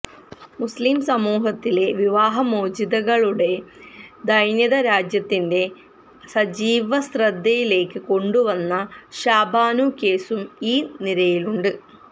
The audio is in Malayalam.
മുസ്ലിം സമൂഹത്തിലെ വിവാഹമോചിതകളുടെ ദൈന്യത രാജ്യത്തിന്റെ സജീവശ്രദ്ധയിലേക്ക് കൊണ്ടുവന്ന ഷാബാനു കേസും ഈ നിരയിലുണ്ട്